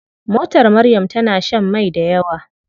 Motar Maryam tana shan mai dayawa.